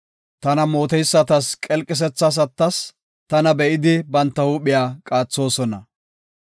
Tana mooteysatas qelqisethas attas; tana be7idi, banta huuphiya qaathosona.